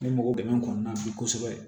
Ne mago bɛ n kɔnɔn na bi kosɛbɛ